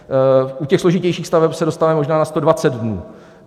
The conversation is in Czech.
U těch složitějších staveb se dostáváme možná na 120 dnů.